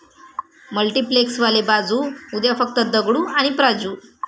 मल्टिप्लेक्सवाले 'बाजू', उद्या फक्त दगडू आणि प्राजू!